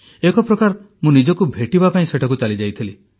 ଏକ ପ୍ରକାର ମୁଁ ନିଜକୁ ଭେଟିବା ପାଇଁ ସେଠାକୁ ଚାଲିଯାଇଥିଲି